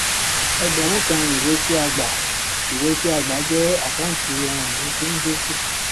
ẹgbẹrún kan ìwé tí a gbàìwé tí a gbà jẹ àkáǹtí ohun ìní tí ń dínkù